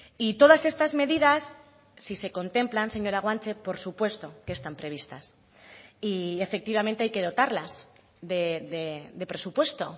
y todas estas medidas si se contemplan señora guanche por supuesto que están previstas y efectivamente hay que dotarlas de presupuesto